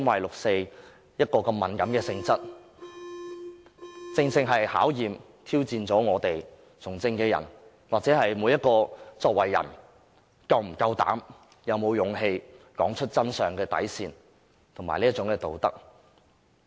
六四如此敏感的性質，正可考驗和挑戰從政者或每一個人的底線及道德，看看他們是否有膽量和勇氣說出真相。